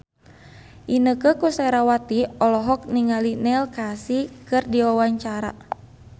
Inneke Koesherawati olohok ningali Neil Casey keur diwawancara